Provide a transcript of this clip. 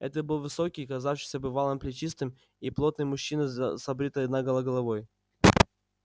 это был высокий казавшийся бывалым плечистый и плотный мужчина с обритой наголо головой